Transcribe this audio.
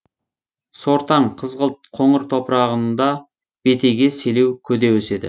сортаң қызғылт қоңыр топырағында бетеге селеу көде өседі